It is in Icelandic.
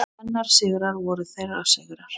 Hennar sigrar voru þeirra sigrar.